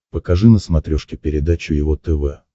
покажи на смотрешке передачу его тв